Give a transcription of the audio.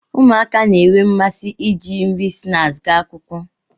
ụmụaka na-enwe mmasị iji nri snaakị ga akwụkwọ